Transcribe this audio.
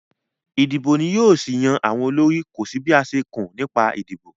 Ìdìbò ni yóò ṣì yan àwọn olórí, kò sí bí a ṣe kùn nípa ìdìbò